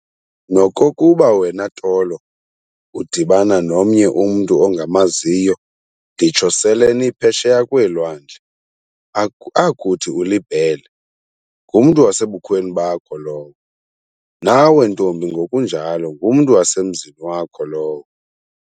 Nokokuba wena Tolo udibana nomnye umntu ongamaziyo nditsho sele niphesheya kweelwandle, akuthi uliBhele, ngumntu wasebukhweni bakho lowo, nawe ntombi ngokunjalo, ngumntu wasemzini wakho lowo.